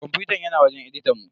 Kwamfutan yana wajen editan mu.